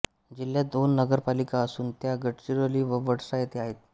जिल्ह्यात दोन नगरपालिका असून त्या गडचिरोली व वडसा येथे आहेत